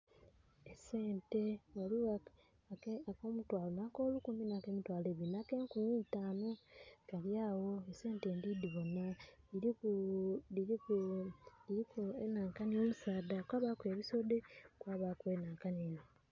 Esente ghaligho ak'omutwalo na k'olukumi na k'emutwalo ebiri na k'enkumi eitanu, kali agho esente ndhidibonha, dhiriku omusaadha, kwabaku ebisodhe.